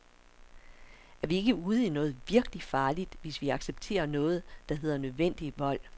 Er vi ikke ude i noget virkelig farligt, hvis vi accepterer noget der hedder nødvendig vold.